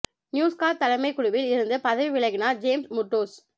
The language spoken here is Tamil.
நியூஸ் கார்ப் தலைமைக் குழுவில் இருந்து பதவி விலகினார் ஜேம்ஸ் முர்டோச்